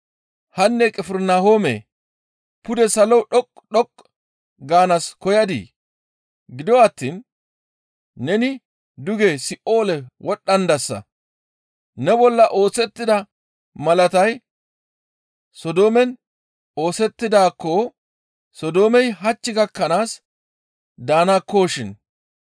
«Hanne Qifirnahoome pude salo dhoqqu dhoqqu gaanaas koyadii? Gido attiin neni duge Si7oole wodhdhandasa; ne bolla oosettida malatay Sodoomen oosettidaakko Sodoomey hach gakkanaas daanakkoshin.